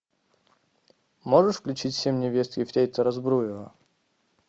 можешь включить семь невест ефрейтора збруева